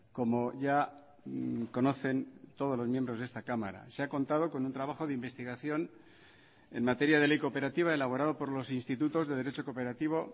como ya conocen todos los miembros de esta cámara se ha contado con un trabajo de investigación en materia de ley cooperativa elaborado por los institutos de derecho cooperativo